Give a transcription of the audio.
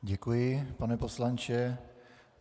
Děkuji, pane poslanče.